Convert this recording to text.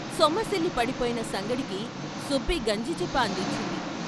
సొమ్మ సిలి పడిపోయిన సంగడికి సుబ్బి గంజిచిప్ప అందించింది.